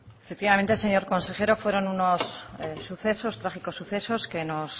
efectivamente señor consejero fueron unos sucesos trágicos sucesos que nos